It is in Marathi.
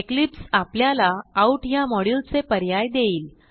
इक्लिप्स आपल्याला आउट ह्या मॉड्युल चे पर्याय देईल